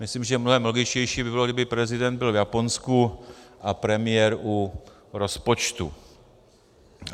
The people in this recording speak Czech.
Myslím, že mnohem logičtější by bylo, kdyby prezident byl v Japonsku a premiér u rozpočtu.